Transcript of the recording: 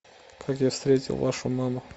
как я встретил вашу маму